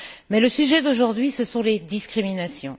Mais le sujet d'aujourd'hui, ce sont les discriminations.